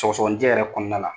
Sɔgɔsɔgɔninjɛ yɛrɛ kɔnɔna la